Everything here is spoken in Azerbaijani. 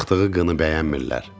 Çıxdığı qını bəyənmirlər.